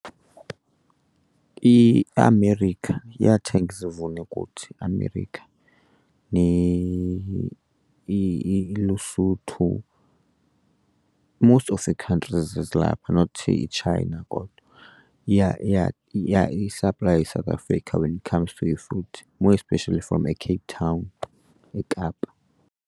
IAmerica, iyathenga izivuno kuthi iAmerica, iLesotho. Most of ii-countries ezi ezilapha not iChina kodwa iya isaplaye iSouth Africa when it comes to i-fruit, more especially from eCape Town, eKapa.